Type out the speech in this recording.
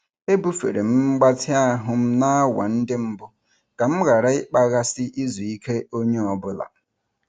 Ebufere m mgbatị ahụ m n'awa ndị mbụ ka m ghara ịkpaghasị izu ike onye ọ bụla.